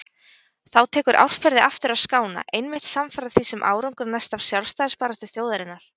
Þá tekur árferði aftur að skána, einmitt samfara því sem árangur næst af sjálfstæðisbaráttu þjóðarinnar.